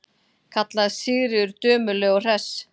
kallaði Sigríður dömuleg og hress.